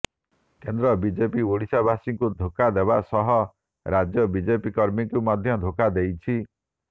କେନ୍ଦ୍ର ବିଜେପି ଓଡ଼ିଶାବାସୀଙ୍କୁ ଧୋକା ଦେବା ସହ ରାଜ୍ୟ ବିଜେପି କର୍ମୀଙ୍କୁ ମଧ୍ୟ ଧୋକା ଦେଇଛି